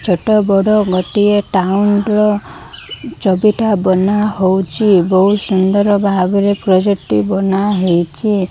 ଛୋଟ ବଡ଼ ଗଟିଏ ଟାଉନ୍ ର ବାନାହୋଉଛି ବୋହୁତ ସୁନ୍ଦର ଭାବରେ ପ୍ରୋଜେକ୍ଟ ଟି ବାନାହେଇଛି।